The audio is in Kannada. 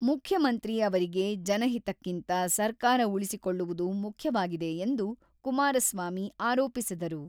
ಮುಖ್ಯಮಂತ್ರಿ ಅವರಿಗೆ ಜನಹಿತಕ್ಕಿಂತ ಸರ್ಕಾರ ಉಳಿಸಿಕೊಳ್ಳುವುದು ಮುಖ್ಯವಾಗಿದೆ ಎಂದು ಕುಮಾರಸ್ವಾಮಿ ಆರೋಪಿಸಿದರು.